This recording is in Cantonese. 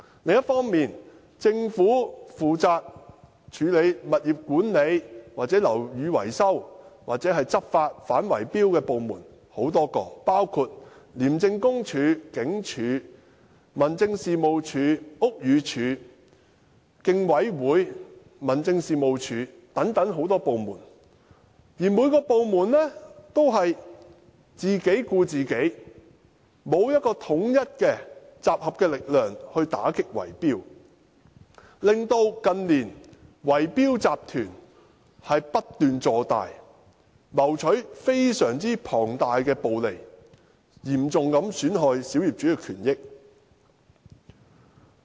另一方面，政府有多個部門負責處理物業管理、樓宇維修及反圍標的執法工作，包括廉署、警務處、民政事務總署、屋宇署和香港競爭事務委員會，而每個部門也只是自己顧自己，沒有統一、集合的力量打擊圍標，令圍標集團近年不斷擴大，謀取龐大的暴利，嚴重損害小業主的權益。